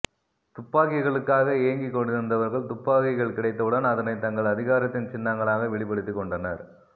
துப்பாக்கிகளுக்காக ஏங்கிக் கொண்டிருந்தவர்கள் துப்பாக்கிகள் கிடைத்தவுடன் அதனை தங்கள் அதிகாரத்தின் சின்னங்களாக வெளிப்படுத்திக் கொண்டனர்